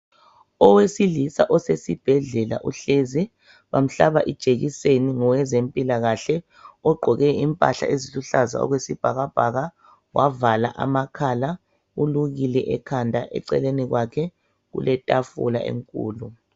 Owesilisa osesibhedlela uhlezi bamhlaba ijekiseni ngowezempilakahle ogqoke impahla eziluhlaza okwesibhakabhaka wavala amakhal, ulukile ekhanda , eceleni kwakhe kule tafula enkulu.